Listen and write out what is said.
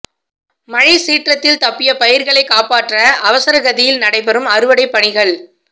மழை சீற்றத்தில் தப்பிய பயிா்களை காப்பாற்ற அவசரகதியில் நடைபெறும் அறுவடைப் பணிகள்